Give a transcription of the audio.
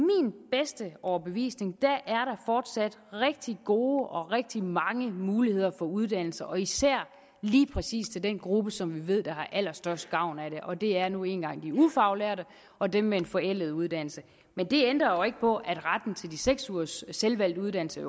bedste overbevisning fortsat er rigtig gode og rigtig mange muligheder for uddannelse og især lige præcis til den gruppe som vi ved har allerstørst gavn af det og det er nu engang de ufaglærte og dem med en forældet uddannelse men det ændrer jo ikke på at retten til de seks ugers selvvalgt uddannelse